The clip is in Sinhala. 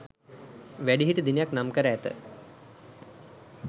වැඩිහිටි දිනයක් නම් කර ඇත.